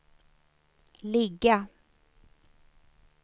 ligga